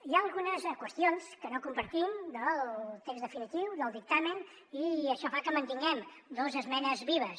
hi ha algunes qüestions que no compartim del text definitiu del dictamen i això fa que mantinguem dos esmenes vives